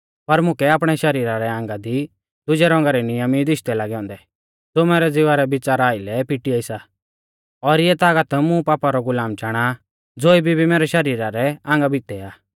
पर मुकै आपणै शरीरा रै आंगा दी दुजै रौंगा रै नियम ई दिशदै लागै औन्दी ज़ो मैरै ज़िवा रै बिच़ारा आइलै पिटिआ सा और इऐ तागत मुं पापा रौ गुलाम चाणा आ ज़ो इबी भी मैरै शरीरा रै आंगा भितै आ